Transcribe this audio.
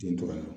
Den tora